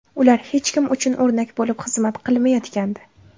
Ular hech kim uchun o‘rnak bo‘lib xizmat qilmayotgandi.